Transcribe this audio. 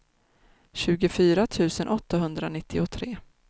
tjugofyra tusen åttahundranittiotre